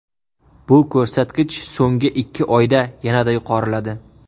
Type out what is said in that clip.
Bu ko‘rsatkich so‘nggi ikki oyda yanada yuqoriladi.